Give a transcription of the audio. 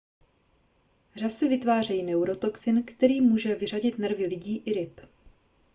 řasy vytvářejí neurotoxin který může vyřadit nervy lidí i ryb